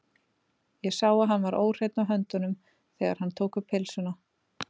Ég sá að hann var óhreinn á höndunum, þegar hann tók um pylsuna.